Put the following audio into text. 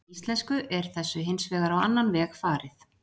Í íslensku er þessu hins vegar á annan veg farið.